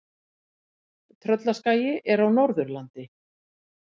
Tröllaskagi er á Norðurlandi.